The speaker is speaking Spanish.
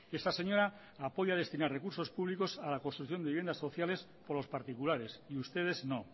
esta señora apoya destinar recursos públicos a la construcción de viviendas sociales por los particulares y ustedes no